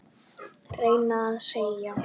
reyni ég að segja.